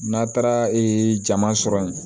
N'a taara jama sɔrɔ yen